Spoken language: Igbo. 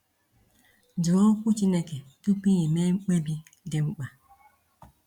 Jụọ Okwu Chineke tupu ime mkpebi dị mkpa.